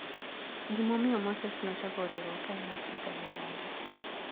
Gimomiyo Moses nochako riwruok kaen Afrika milambo.